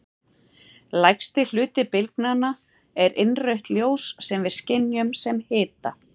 Langstærsti hluti bylgnanna er innrautt ljós sem við skynjum sem hita.